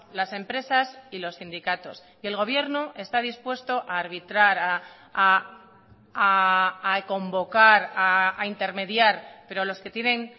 las empresas y los sindicatos y el gobierno está dispuesto a arbitrar a convocar a intermediar pero los que tienen